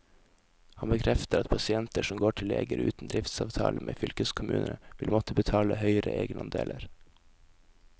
Han bekrefter at pasienter som går til leger uten driftsavtale med fylkeskommunene, vil måtte betale høyere egenandeler.